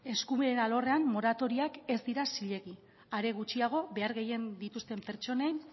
eskubideen alorrean moratoriak ez dira zilegi are gutxiago behar gehien dituzten pertsonen